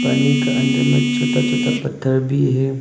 पानी का अंदर में छोटा छोटा पत्थर भी है।